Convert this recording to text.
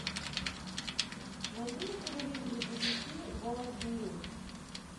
найди на телевизоре бибиси ворлд ньюс